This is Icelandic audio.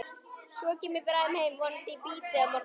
Svo kem ég bráðum heim, vonandi í bítið á morgun.